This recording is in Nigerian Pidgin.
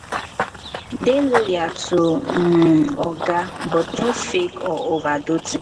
dey loyal to um oga but no fake or overdo things